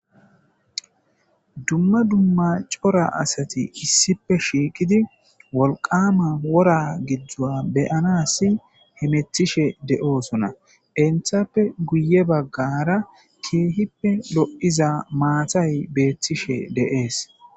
dumma dumma cora asati issipe shiiqidi wolqama wora giddzua beyanasi hemetishe de7oosona Entappe guye baggara keehippe lo7iza maatay beethtishe deees